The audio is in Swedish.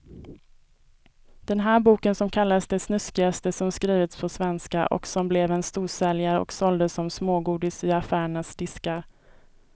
Den där boken som kallades det snuskigaste som skrivits på svenska och som blev en storsäljare och såldes som smågodis i affärernas diskar.